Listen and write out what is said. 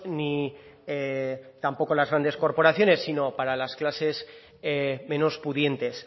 ni tampoco las grandes corporaciones sino para las clases menos pudientes